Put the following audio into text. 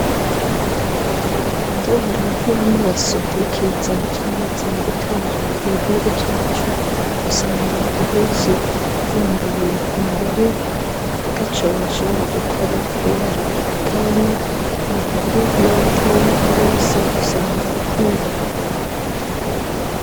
Indwara y'amaso n'ikiza camaze gutera mu gihugu cacu usanga abenshi bambaye amarori ataco bashobora gukora kubera ukutabona abakuru, n'abatoyi bose usanga ar'uko.